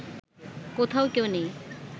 কোথাও কেউ নেই